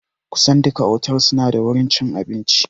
Kusan duka otals suna da wurin cin abinci